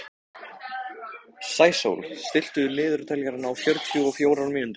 Sæsól, stilltu niðurteljara á fjörutíu og fjórar mínútur.